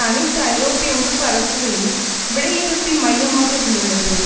அனைத்து ஐரோப்பிய உறுப்பு அரசுகளின் விடையிறுப்பின் மையமாக இருந்துள்ளது